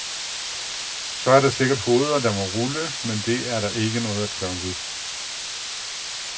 Så er der sikkert hoveder, der må rulle, men det er der ikke noget at gøre ved.